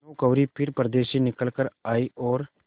भानुकुँवरि फिर पर्दे से निकल आयी और